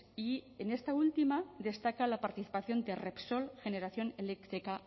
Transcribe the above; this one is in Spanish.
y en esta última destaca la participación de repsol generación eléctrica